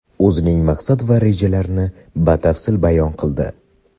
o‘zining maqsad va rejalarini batafsil bayon qildi.